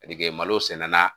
Malo senna